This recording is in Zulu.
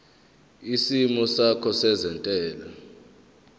isimo sakho sezentela